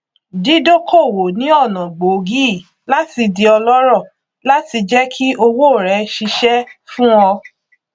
dídókòwò ni ọnà gbòógì láti di ọlọrọ láti jẹ kí owó rẹ ṣiṣẹ fún ọ